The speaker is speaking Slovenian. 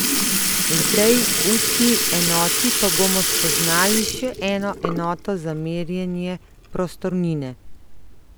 V tej učni enoti pa bomo spoznali še eno enoto za merjenje prostornine.